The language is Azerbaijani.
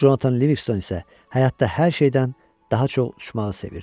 Conatan Livingston isə həyatda hər şeydən daha çox uçmağı sevirdi.